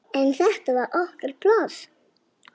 En þetta var okkar pláss.